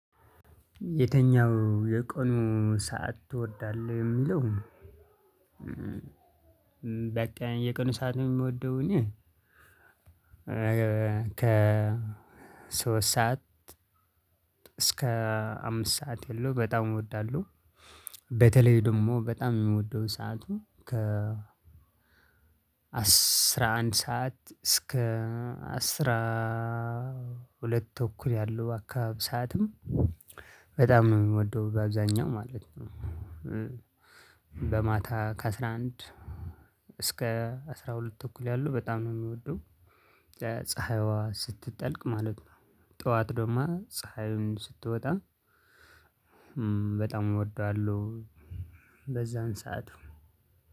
የተኛው የቀኑ ሰዓት ትወዳለህ የሚለው በቃ የቀኑ ሰዓት የምወደው እኔ ከ ሶስት ሰዓት እስከ አምስት ሰዓት የለው በጣም እወዳለሁ። በተለይ ደግሞ በጣም የሚወደው ሰዓቱ ከ አስራ አንድ ሰዓት እስከ አስራ ሁለት ተኩል ያለው አካባቢ ሰዓትም በጣም የምወደው በአብዛኛው ማለት ነው። በማታ ከአስራ አንድ እስከ አስራ ሁለት ተኩል ያሉ በጣም ነው የሚወደው። ፀሀይዋ ስትጠልቅ ማለት ነው። ጠዋት ደግሞ ፀሀዩን ስትወጣ በጣም እወደዋለሁ በዛን ሰዓት።